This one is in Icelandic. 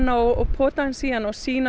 og pota aðeins í hana og sýna